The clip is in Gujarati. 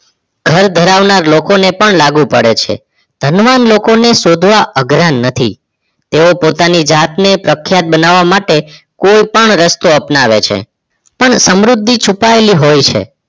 ઘર ધરાવનાર લોકો ને પણ લાગુ પડે છે ધનવાન લોકો ને શોધવા અઘરા નથી તેઓ પોતાની જાતને પ્રખ્યાત બનાવવા માટે કોઈ પણ રસ્તો અપનાવે છે પણ સમૃદ્ધિ છુપાયેલી હોય છે